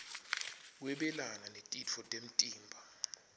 kwabelana netitfo temtimba